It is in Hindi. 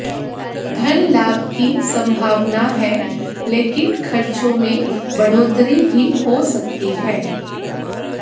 धन लाभ की संभावना है लेकिन खर्चों में बढ़ोतरी भी हो सकती है